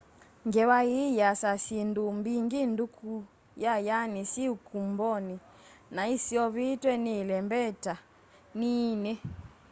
ngewa ii yiasya syindu mbingi nduku yayayani syi ikumboni na iseovitwe ni ilembeta nini